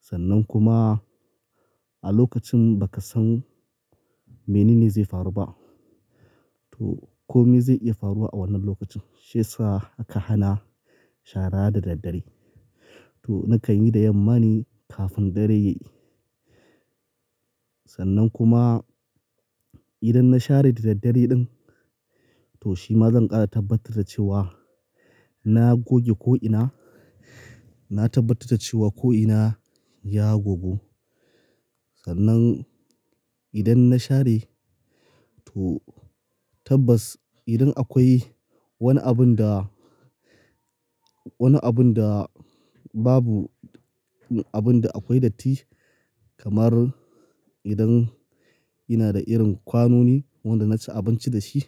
sannan kuma a lokacin bakasan menene zai faru ba. To, komi zai iya faruwa a wannan lokacin. Shi ya sa aka hana shara da daddare. To nakan yi da yamma ne, kafin dare yayi. Sannan kuma idan na share da daddare ɗin, to shima zan ƙara tabbatar da cewa na goge ko'ina, na tabbatar da cewa ko'ina ya gogu. Sannan idan na share to tabbas idan akwai wani abun da, wani abun da babu, abun da akwai datti, kamar idan ina da irin kwanoni wanda na ci abinci da shi,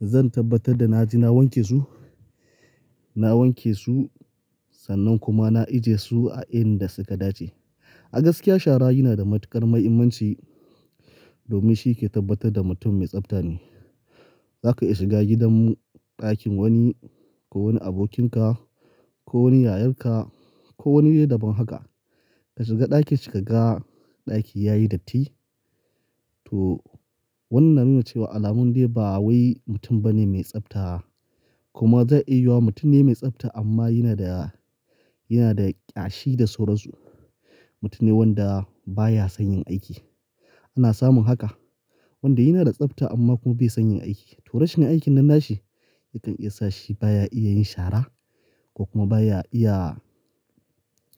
zan tabbatar da naje na wanke su. Na wanke su sannan kuma na ajiye su a inda suka dace. A gaskiya shara yana da matuƙar mahimmanci domin shi yake tabbatar da mutum mai tsafta ne. Zaka iya shiga gidan ɗakin wani, ko wani abokinka, ko wani yayanka, ko wani de daban haka. Ka shiga ɗakin shi kaga ɗaki yayi datti, to wannan na nuna cewa alamun dai ba wai mutum bane mai tsafta. Kuma zai iya yiwa mutum ne mai tsafta amma yana da, yana da ƙyashi da sauransu. Mutum ne wanda baya son yin aiki. Ina samun haka. Wanda yana da tsafta amma kuma bai son yai aiki. To rashin aikin nan na shi, yakan iya sa shi baya iya yin shara, ko kuma baya iya,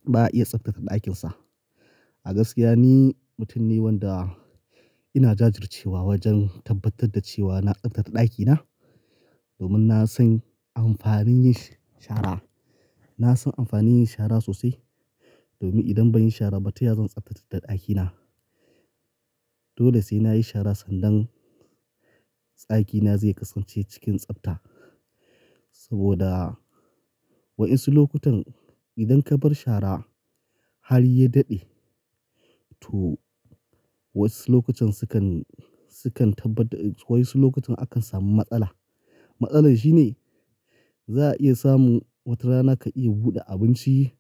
baya iya tsaftace ɗakin sa. A gaskiya ni mutum ne wanda, ina jajur cewa wajen tabbatar da cewa na tsaftace ɗakina, domin na san amfanin yin shara. Na san amfanin yin shara sosai domin idan banyi shara ba taya zan tsaftace ɗakina. Dole sai nayi shara sannan, tsakina zai kasance cikin tsafta. Saboda wa'insu lokutan idan kabar shara, har ya daɗe, to wasu lokutan sukan, sukan tabbatar-- wai'insu lokutan akan samu matsala. Matsalar shine, za'a iya samun wata rana ka iya buɗe abinci,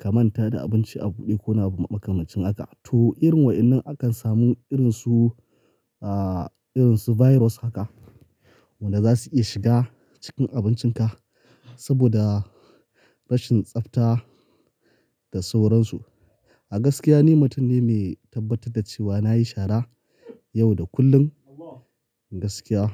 ka manta da abinci a buɗe ko wani makamancin haka. To irin wa'innan akan samu irinsu, ah, irinsu virus haka. Wanda za su iya shiga cikin abincinka, saboda, rashin tsafta da sauransu. A gaskiya ni mutum ne mai tabbatar da cewa nayi shara yau da kullum gaskiya.